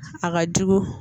A ka jugu